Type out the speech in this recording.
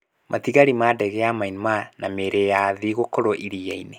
Matigari ma ndege ya Myanmar na mĩĩrĩ ya athii, gũkũũrũo iria-inĩ.